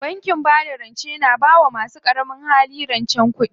Bankin bada rance na bawa masu ƙaramin hali rancen kuɗi.